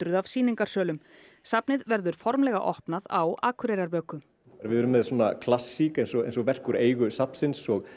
af sýningarsölum safnið verður formlega opnað á Akureyrarvöku við erum með svona klassík eins og eins og verk úr eigu safnsins og